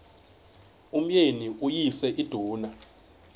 umyeni uyise iduna